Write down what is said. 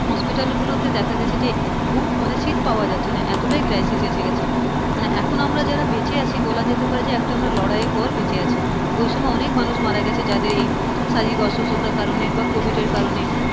hospital গুলোতে দেখা গেছে যে book মানে seat পাওয়া যাচ্ছে না মানে এতটাই crisis এসে গিয়েছে, মানে এখন আমরা যারা বেঁচে আছি বলা যেতে পারে যে একটা লড়াইয়ের পর বেঁচে আছি, ওই সময় অনেক মানুষ মারা গিয়েছে যাদের এই শারীরিক অসুস্থতার কারণ এ বা covid এর কারণ এ,